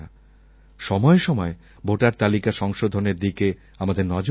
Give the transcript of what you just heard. সময়ে সময়ে ভোটার তালিকা সংশোধনের দিকে আমাদের নজর দিতে হবে